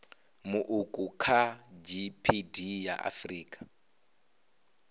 muuku kha gdp ya afrika